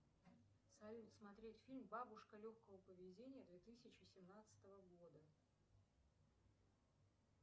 салют смотреть фильм бабушка легкого поведения две тысячи семнадцатого года